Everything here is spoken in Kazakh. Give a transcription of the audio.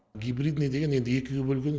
гибридный деген енді екіге бөлген